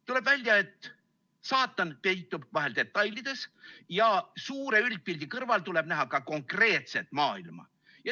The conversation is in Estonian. Tuleb välja, et saatan peitub vahel detailides ja suure üldpildi kõrval tuleb näha ka konkreetset maailma.